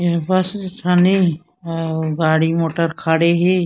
ए bus इसन ए अउ गाड़ी मोटर खड़े हे।